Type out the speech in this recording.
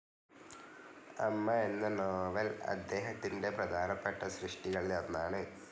അമ്മ എന്ന നോവൽ അദ്ദേഹത്തിന്റെ പ്രധാനപ്പെട്ട സൃഷ്ടികളിലൊന്നാണ്.